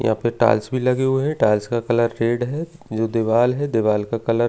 यहां पे टाइल्स भी लगी हुई है टाइल्स का कलर रेड है जो दिवाल है दिवाल का कलर --